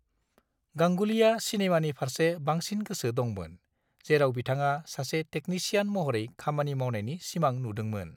गांगुलीआ सिनेमानि फारसे बांसिन गोसो दंमोन, जेराव बिथाङा सासे टेकनिसियान महरै खामानि मावनायनि सिमां नुदोंमोन।